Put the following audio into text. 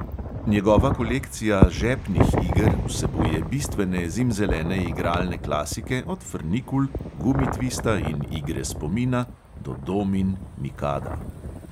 Njegova kolekcija "žepnih" iger vsebuje bistvene zimzelene igralne klasike od frnikul, gumitvista in igre spomina do domin, mikada ...